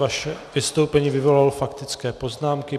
Vaše vystoupení vyvolalo faktické poznámky.